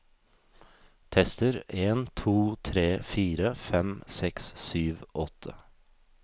Tester en to tre fire fem seks sju åtte